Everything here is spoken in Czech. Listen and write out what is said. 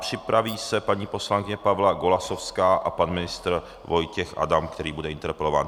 Připraví se paní poslankyně Pavla Golasowská a pan ministr Vojtěch Adam, který bude interpelován.